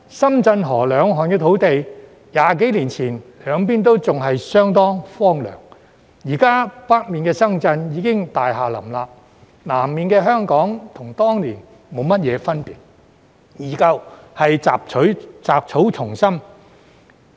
深圳河兩岸土地 ，20 多年前兩邊都相當荒涼，現時北面的深圳已經大廈林立，南面的香港與當年沒有大分別，仍然是雜草叢生。